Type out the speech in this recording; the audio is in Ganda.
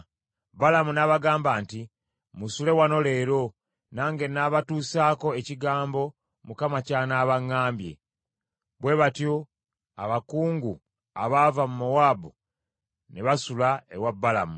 Balamu n’abagamba nti, “Musule wano leero, nange nnaabatuusaako ekigambo Mukama ky’anaaba aŋŋambye.” Bwe batyo abakungu abaava mu Mowaabu ne basula ewa Balamu.